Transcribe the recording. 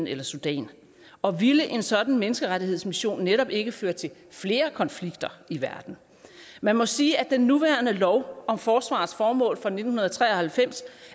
eller sudan og ville en sådan menneskerettighedsmission netop ikke føre til flere konflikter i verden man må sige at den nuværende lov om forsvarets formål fra nitten tre og halvfems